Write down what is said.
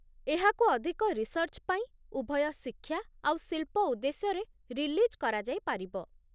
ଏହାକୁ ଅଧିକ ରିସର୍ଚ୍ଚ ପାଇଁ, ଉଭୟ ଶିକ୍ଷା ଆଉ ଶିଳ୍ପ ଉଦ୍ଦେଶ୍ୟରେ ରିଲିଜ୍ କରାଯାଇପାରିବ ।